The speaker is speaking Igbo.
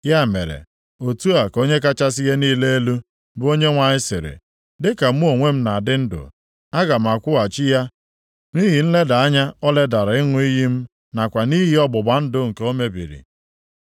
“ ‘Ya mere, otu a ka Onye kachasị ihe niile elu, bụ Onyenwe anyị sịrị, Dịka mụ onwe m na-adị ndụ, aga m akwụghachi ya nʼihi nleda anya o ledara ịṅụ iyi m nakwa nʼihi ọgbụgba ndụ nke o mebiri.